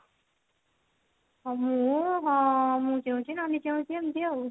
ମୁଁ ହଁ ମୁଁ ଚେଉଁଛି ନାନୀ ଚେଉଞ୍ଚି ଏମତି ଆଉ